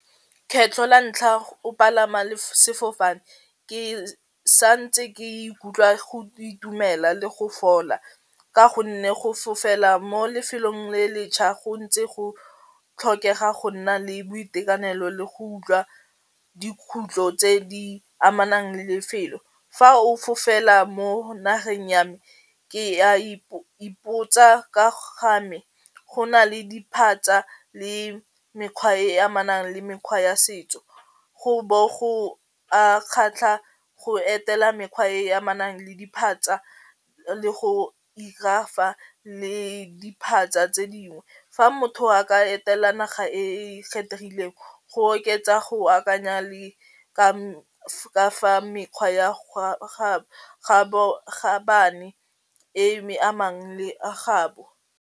Kgetlho la ntlha o palama sefofane ke sa ntse ke ikutlwa go itumela le go fola ka gonne go fofela mo lefelong le le tjha go ntse go tlhokega go nna le boitekanelo le go utlwa dikhutlo tse di amanang le lefelo, fa o fofela mo nageng ya me ke a ipotsa ga me go na le diphatsa le mekgwa e e amanang le mekgwa ya setso, go bo go kgatlha go etela mekgwa e e amanang le diphatsa le go 'ira fa le diphatsa tse dingwe fa motho a ka etela naga e e kgethegileng go oketsa go akanya le ka fa mekgwa e e me amang le gagabo.